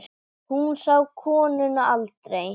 Hún sá konuna aldrei.